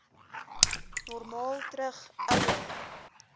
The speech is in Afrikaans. normaal terug ouer